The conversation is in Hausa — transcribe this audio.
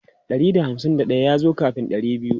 Ɗari da hamsin daya ya zo kafin ɗari biyu.